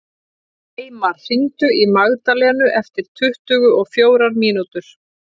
Eymar, hringdu í Magdalenu eftir tuttugu og fjórar mínútur.